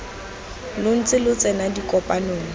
lo ntse lo tsena dikopano